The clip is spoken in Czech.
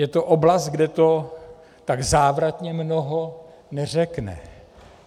Je to oblast, kde to tak závratně mnoho neřekne.